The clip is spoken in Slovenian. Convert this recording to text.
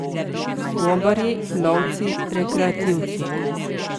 Gobarji, lovci, rekreativci.